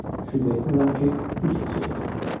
Şübhə etmirəm ki, düz seçəcəksən.